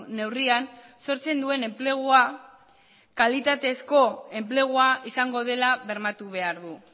neurrian sortzen duen enplegua kalitatezko enplegua izango dela bermatu behar du